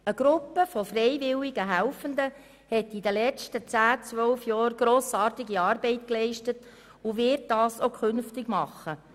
Eine Gruppe von freiwilligen Helfenden hat in den letzten zehn bis zwölf Jahren grossartige Arbeit geleistet und wird dies auch künftig tun.